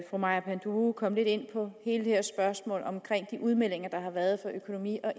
fru maja panduro komme lidt ind på hele det her spørgsmål om de udmeldinger der har været fra økonomi og